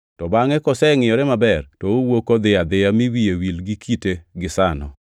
to bangʼ kosengʼiyore maber to owuok odhi adhiya mi wiye wil gi kite gisano.